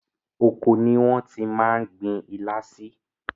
Oko ni wọ́n ti máa gbin ilá sí.